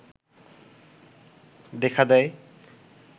দেখা দেয়